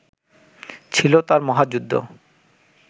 ছিল তাঁর মহাযুদ্ধ